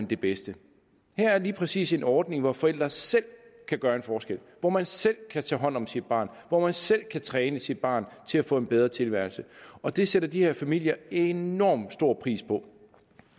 det bedste her er lige præcis en ordning hvor forældre selv kan gøre en forskel hvor man selv kan tage hånd om sit barn hvor man selv kan træne sit barn til at få en bedre tilværelse og det sætter de her familier enormt stor pris på